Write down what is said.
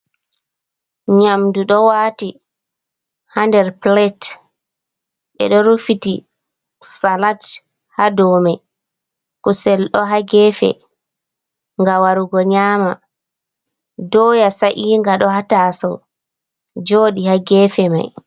Nyamdu ɗo waati ha nder pilate, ɓeɗo rufiti salad haa dow may, kusel ɗo haa gefe nga warugo nyama. Doya sa'iga ɗo haa tasou joɗi haa gefe may.